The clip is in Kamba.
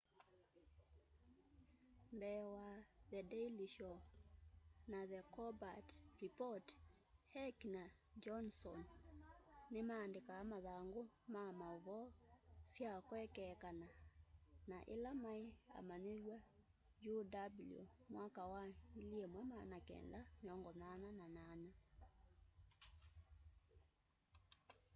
mbee wa the daily show na the colbert report heck na johndson ni maandĩkaa mathangũ ma maũvoo sya kwekeekana na ila maĩ amanyĩwa uw mwaka wa 1988